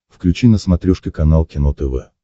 включи на смотрешке канал кино тв